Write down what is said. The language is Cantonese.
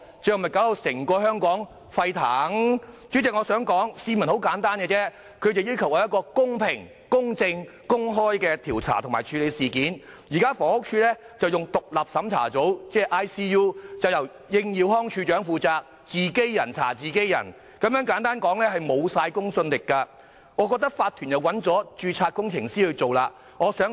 代理主席，市民的要求十分簡單，他們只要求公平、公正、公開地調查及處理事件，但現時的獨立審查組由房屋署署長應耀康負責，可謂是"自己人查自己人"，完全沒有公信力，而法團已聘請結構工程師進行調查。